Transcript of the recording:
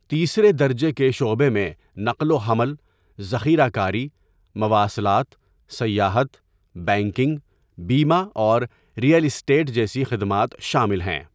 تیسرے درجے کے شعبے میں نقل و حمل، ذخیرہ کاری، مواصلات، سیاحت، بینکنگ، بیمہ اور رئیل اسٹیٹ جیسی خدمات شامل ہیں۔